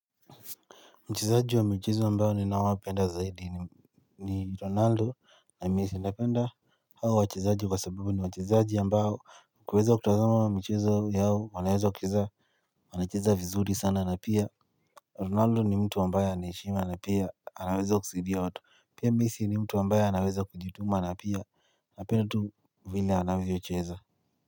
Mchezaji wa mchezo ambao ninaowapenda zaidi ni ronaldo na messi napenda hao wachezaji kwa sababu ni wachezaji ambao kuweza kutazama michezo yao wanaweza kucheza wanacheza vizuri sana na pia Ronaldo ni mtu ambaye ana heshima na pia anaweza kusaidia watu pia messi ni mtu ambaye anaweza kujituma na pia napenda tu vile anavyocheza.